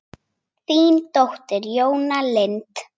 Þín dóttir, Jóna Lind.